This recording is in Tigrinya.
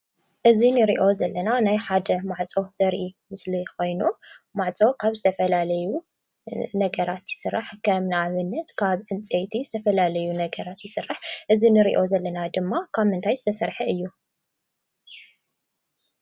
እዚ ንሪኦ ዘለና ናይ ሓደ ማዕፆ ዘርኢ ምስሊ ኾይኑ ማዕፆ ካብ ዝተፈላለዩ ነገራት ይስራሕ። ከም ንኣብነት ካብ ዕንፀይቲ ዝተፈላለዩ ነገራት ይስራሕ እዚ ንሪኦ ዘለና ድማ ካብ ምንታይ ዝተሰርሐ እዩ?